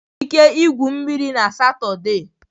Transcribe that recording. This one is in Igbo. Ị nwere ike igwu mmiri na Satọde.